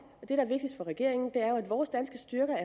og regeringen er jo at vores danske styrker